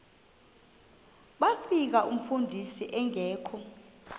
bafika umfundisi engekho